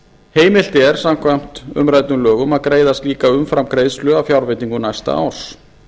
heimilt er samkvæmt umræddum lögum að greiða slíka umframgreiðslu af fjárveitingu næsta árs